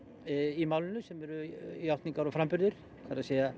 í málinu sem eru játningar og framburðir það er